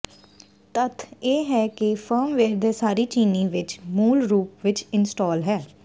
ਤੱਥ ਇਹ ਹੈ ਕਿ ਫਰਮਵੇਅਰ ਦੇ ਸਾਰੇ ਚੀਨੀ ਵਿਚ ਮੂਲ ਰੂਪ ਵਿੱਚ ਇੰਸਟਾਲ ਹੈ